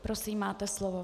Prosím, máte slovo.